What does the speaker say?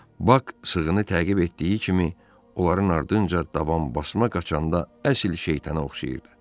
Bak sığını təqib etdiyi kimi, onların ardınca davam basma qaçanda əsl şeytana oxşayırdı.